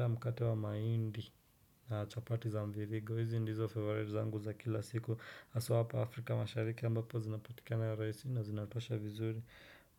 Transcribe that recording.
Mkate wa mahindi na chapati za mviringo, hizi ndizo favorite zangu za kila siku, haswa hapa Afrika mashariki ambapo zinapotikana rahisi na zinatosha vizuri.